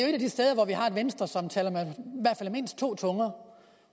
et af de steder hvor vi har et venstre som taler med i mindst to tunger